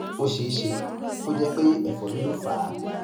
ó ṣe é ṣe kó jẹ pé ẹfọrí ló fà á